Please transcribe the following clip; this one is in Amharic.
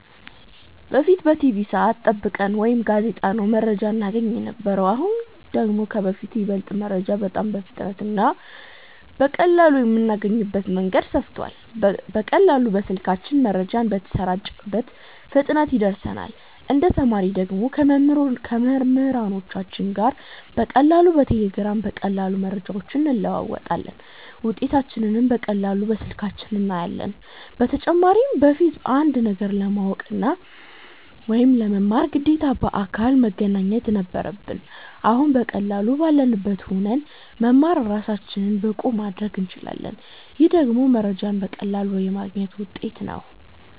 በፊት በቲቪ ሰዐት ጠብቀን ወይ ከጋዜጣ ነው መረጃ እናገኝ የነበረው አሁን ደግሞ ከበፊቱ ይበልጥ መረጃ በጣም በፍጥነት እና በቀላሉ የምናገኝበት መንገድ ሰፍቷል በቀላሉ በስልካችን መረጃው በተሰራጨበት ፍጥነት ይደርሰናል እንደ ተማሪ ደግሞ ከመምህሮቻችን ጋር በቀላሉ በቴሌግራም በቀላሉ መረጃዎችን እንለዋወጣለን ውጤታችንንም በቀላሉ በስልካችን እናያለን በተጨማሪም በፊት አንድን ነገር ለማወቅ ወይ ለመማር ግዴታ በአካል መገኘት ነበረብን አሁን በቀላሉ ባለንበት ሁነን መማር እራሳችንን ብቁ ማረግ እንችላለን ይሄ ደግሞ መረጃዎችን በቀላሉ የማግኘት ውጤት ነው